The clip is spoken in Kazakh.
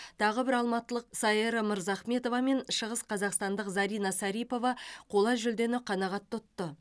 тағы бір алматылық саера мырзахметова мен шығысқазақстандық зарина сарипова қола жүлдені қанағат тұтты